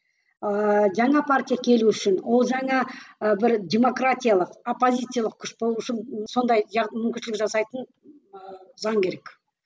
ыыы жаңа партия келу үшін ол жаңа ы бір демократиялық оппозициялық күш болу үшін сондай мүмкіншілік жасайтын ыыы заң керек